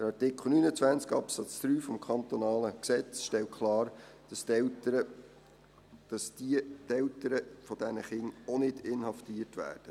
Der Artikel 29 Absatz 3 des kantonalen Gesetzes stellt klar, dass die Eltern dieser Kinder auch nicht inhaftiert werden.